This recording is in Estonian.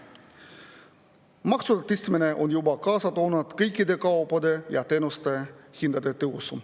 Maksude tõstmine on juba kaasa toonud kõikide kaupade ja teenuste hindade tõusu.